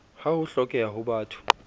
ha ho hlokeha ho batho